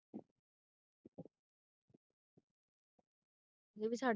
ਇਹ ਵੀ ਛਡ